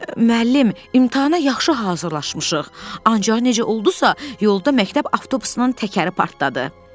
Müəllim, imtahana yaxşı hazırlaşmışıq, ancaq necə oldusa, yolda məktəb avtobusunun təkəri partladı.